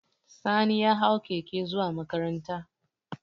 Sani ya hau keke zuwa makaranta